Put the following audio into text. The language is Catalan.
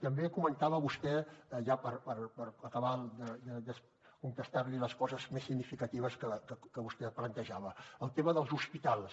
també comentava vostè ja per acabar de contestar li les coses més significatives que vostè plantejava el tema dels hospitals